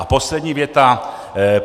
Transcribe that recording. A poslední věta.